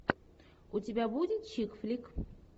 у тебя будет чик флик